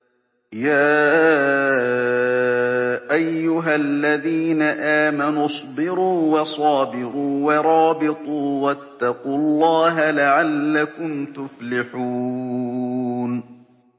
يَا أَيُّهَا الَّذِينَ آمَنُوا اصْبِرُوا وَصَابِرُوا وَرَابِطُوا وَاتَّقُوا اللَّهَ لَعَلَّكُمْ تُفْلِحُونَ